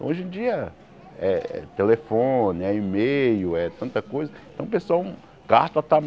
Hoje em dia é telefone, é e-mail, é tanta coisa. Então o pessoal